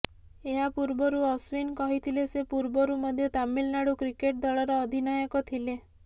ଏହା ପୂର୍ବରୁ ଅଶ୍ୱିନ କହିଥିଲେ ସେ ପୂର୍ବରୁ ମଧ୍ୟ ତାମିଲନାଡୁ କ୍ରିକେଟ ଦଳର ଅଧିନାୟକ ଥିଲେ